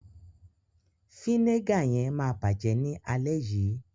Fínégà yẹn ma bajẹ ni alẹ́ yii.